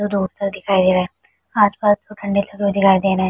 Road पर दिखाई दे रहा है। आस-पास दिखाई दे रहे है।